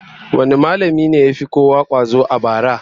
Wane mallamin ne ya fi kowa kwazo a bara?